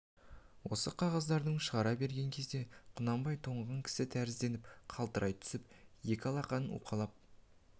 осы қағаздарды шығара берген кезде құнанбай тоңған кісі тәрізденіп қалтырай түсіп екі алақанын уқалап